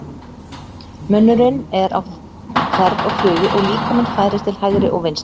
Munnurinn er á ferð og flugi og líkaminn færist til hægri og vinstri.